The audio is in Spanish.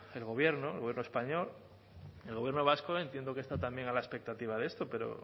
el gobierno el gobierno español el gobierno vasco entiendo que está también a la expectativa de esto pero